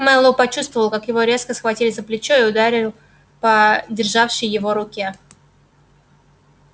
мэллоу почувствовал как его резко схватили за плечо и ударил по державшей его руке